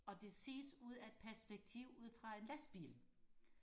og det ses ud af et perspektiv ud fra en lastbil